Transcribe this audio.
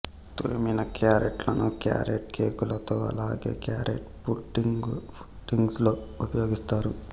తురిమిన క్యారెట్లను క్యారెట్ కేకులలో అలాగే క్యారెట్ పుడ్డింగ్సులో ఉపయోగిస్తారు